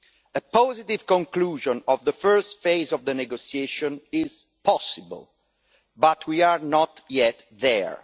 A positive conclusion of the first phase of the negotiations is possible, but we are not yet there.